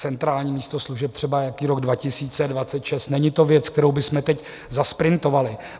centrální místo služeb třeba nějaký rok 2026 - není to věc, kterou bychom teď zasprintovali.